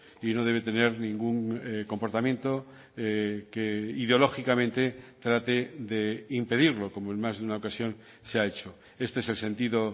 y no debe tener ningún comportamiento que ideológicamente trate de impedirlo como en más de una ocasión se ha hecho este es el sentido